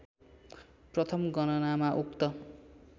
प्रथम गणनामा उक्त